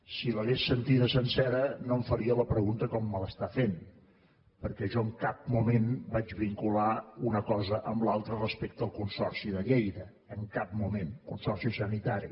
si l’hagués sentida sencera no em faria la pregunta com me l’està fent perquè jo en cap moment vaig vincular una cosa amb l’altra respecte al consorci de lleida en cap moment el consorci sanitari